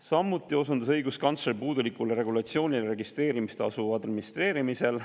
Samuti osundas õiguskantsler puudulikule regulatsioonile registreerimistasu administreerimisel.